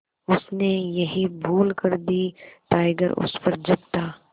उसने यही भूल कर दी टाइगर उस पर झपटा